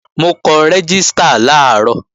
Mo kọ rẹ́gístà làárọ̀